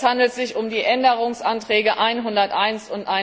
Es handelt sich um die Änderungsanträge 101